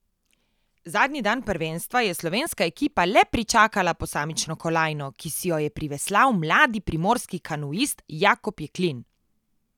Zadnji dan prvenstva je slovenska ekipa le pričakala posamično kolajno, ki si jo je priveslal mladi primorski kanuist Jakob Jeklin.